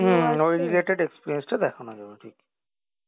ওই related experience টা দেখানো যাবে ঠিক